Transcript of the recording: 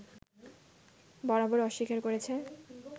বরাবর অস্বীকার করেছে